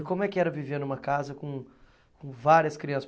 E como é que era viver numa casa com com várias crianças?